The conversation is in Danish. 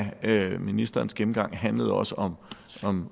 af ministerens gennemgang handlede også om